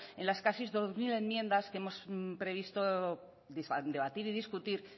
en las casi dos mil enmiendas que hemos previsto debatir y discutir